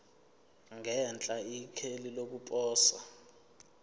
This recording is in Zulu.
ngenhla ikheli lokuposa